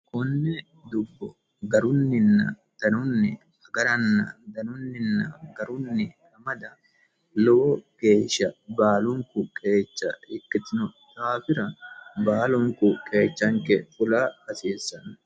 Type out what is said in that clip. Konne dubbo garunninna danunni agarana danunnina garunni amada lowo geesha baalunikku qeecha ikkitino daafira baalunikku qeechanikke fula hasiissano